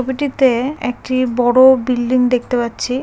একটি বড়ো-ও বিল্ডিং দেখতে পাচ্ছি--